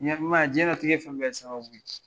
Jiɲɛnatigɛ fɛn bɛ ye sababu de ye.